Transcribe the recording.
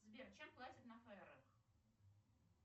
сбер чем платят на фарерах